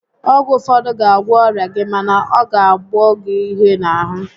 Ọgwụ ụfọdụ ga agwọ ọrịa gị mana ọ ga qboọ gi ihe n'ahụ